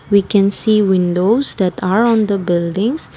we can see windows that are on the buildings.